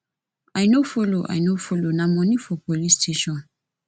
i no follow i no follow na moni for police station